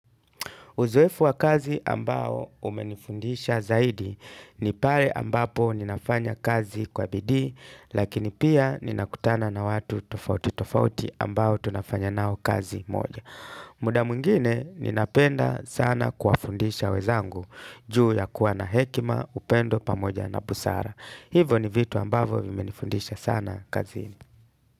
Uzoefu wa kazi ambao umenifundisha zaidi ni pale ambapo ninafanya kazi kwa bidii lakini pia ninakutana na watu tofauti tofauti ambao tunafanya nao kazi moja. Muda mwingine ninapenda sana kuwaundisha wenzangu juu ya kuwa na hekima upendo pamoja na busara. Hivo ni vitu ambavo vimenifundisha sana kazi.